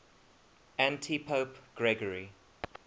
antipope gregory